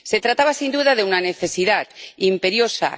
Se trataba, sin duda, de una necesidad imperiosa.